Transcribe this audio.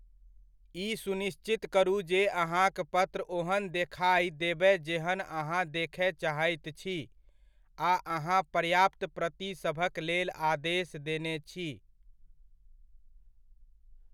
ई सुनिश्चित करू जे अहाँक पत्र ओहन देखाइ देबय जेहन अहाँ देखय चाहैत छी आ अहाँ पर्याप्त प्रतिसभक लेल आदेश देने छी।